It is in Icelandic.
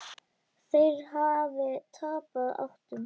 Þeir hafi tapað áttum.